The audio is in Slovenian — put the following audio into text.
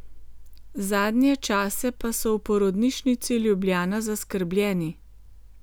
Zadnje čase pa so v Porodnišnici Ljubljana zaskrbljeni.